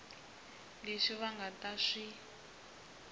leswi va nga ta swi